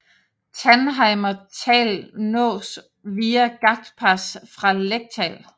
Tannheimer Tal nås via Gaichtpass fra Lechtal